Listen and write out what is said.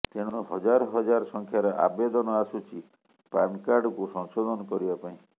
ତେଣୁ ହଜାର ହଜାର ସଂଖ୍ୟାର ଆବେଦନ ଆସୁଛି ପାନକାର୍ଡକୁ ସଂଶୋଧନ କରିବା ପାଇଁ